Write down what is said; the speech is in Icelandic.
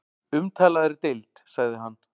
Umtalaðri deild sagði hann.